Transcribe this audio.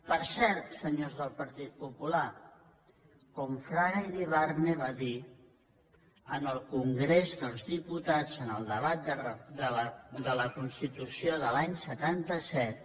per cert senyors del partit popular quan fraga iribarne va dir en el congrés dels diputats en el debat de la constitució de l’any setanta set